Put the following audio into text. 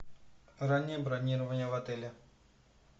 раннее бронирование в отеле